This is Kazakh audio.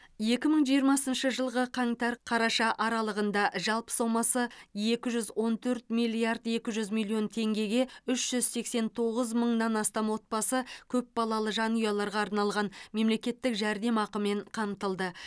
екі мың жиырмасыншы жылғы қаңтар қараша аралығында жалпы сомасы екі жүз он төрт миллиард екі жүз миллион теңгеге үш жүз сексен тоғыз мыңнан астам отбасы көпбалалы жанұяларға арналған мемлекеттік жәрдемақымен қамтылды